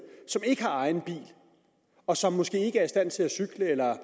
som ikke har egen bil og som måske ikke er i stand til at cykle eller